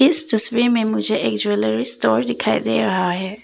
इस तस्वीर में मुझे एक ज्वैलरी स्टोर दिखाई दे रहा है।